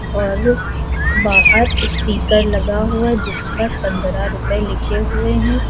और बाहर स्टीकर लगा हुआ है जिस पर पंद्रह रुपए लिखे हुए हैं।